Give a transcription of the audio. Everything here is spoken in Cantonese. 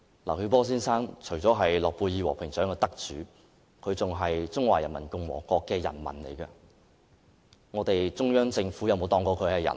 劉曉波先生除了是諾貝爾和平獎得主外，也是中華人民共和國的人民，但中央政府有當他是人嗎？